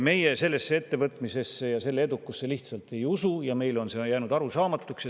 Meie sellesse ettevõtmisesse ja selle edukusse lihtsalt ei usu ja meile on jäänud see arusaamatuks.